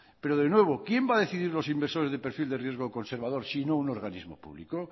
pero de nuevo quien va a decidir los inversores de perfil de riesgo conservador si no un organismo público